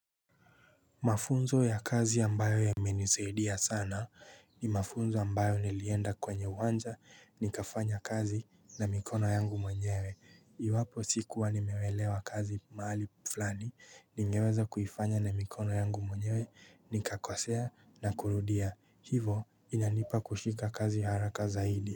Mafunzo ya kazi ambayo yamenisaidia sana ni mafunzo ambayo nilienda kwenye uwanja nikafanya kazi na mikono yangu mwenyewe Iwapo sikuwa nimeuelewa kazi mahali flani ningeweza kuifanya na mikono yangu mwenyewe nikakosea na kurudia hivo inanipa kushika kazi haraka zaidi.